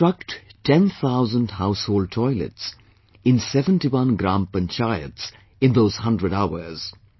To construct 10,000 household toilets in 71 gram panchayats in those hundred hours